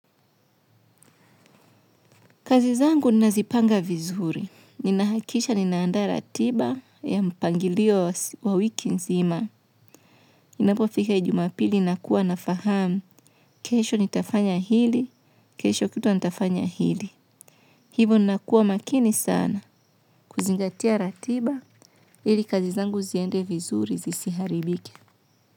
Kazizangu nazipanga vizuri. Ninahakisha nina andaa ratiba ya mpangilio wa wiki nzima. Inapofika ijumapili nakuwa nafahamu. Kesho nitafanya hili, kesho kutwa nitafanya hili. Hivo nakuwa makini sana. Kuzingatia ratiba, ili kazizangu ziende vizuri zisiharibike.